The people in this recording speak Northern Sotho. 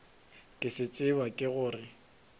ke se tseba ke gore